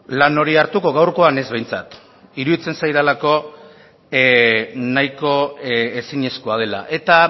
lan hori hartuko gaurkoan ez behintzat iruditzen zaidalako nahiko ezinezkoa dela eta